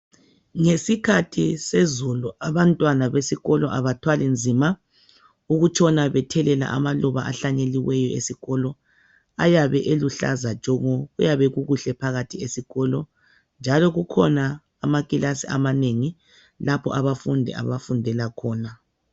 Ngesikhathi sezulu abantwana besikolo abathwali nzima ukutshona bethelela amaluba ahlanyeliweyo esikolo ayabe eluhlaza tshoko kuyabe kukuhle phakathi esikolo njalo kukhona amakilasi amanengi lapho abafundi abafundela khona.